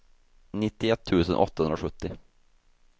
nittioett tusen åttahundrasjuttio